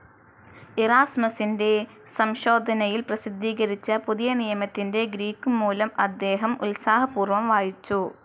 ഇറാസ്മസിന്റെ സംശോധനയിൽ പ്രസിദ്ധീകരിച്ച പുതിയനിയമത്തിന്റെ ഗ്രീക്കു മൂലം അദ്ദേഹം ഉത്സാഹപൂർവം വായിച്ചു.